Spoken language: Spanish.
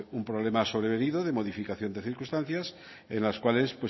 un problema sobrevenido de modificación de circunstancias en las cuales